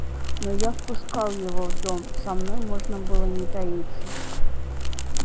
но я впускал его в дом со мной можно было не таиться